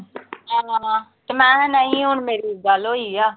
ਹਾਂ ਤੇ ਮੈਂ ਕਿਹਾ ਨਹੀਂ, ਹੁਣ ਮੇਰੀ ਗੱਲ ਹੋਈ ਆ।